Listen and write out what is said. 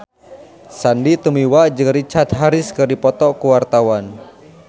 Sandy Tumiwa jeung Richard Harris keur dipoto ku wartawan